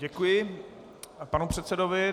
Děkuji panu předsedovi.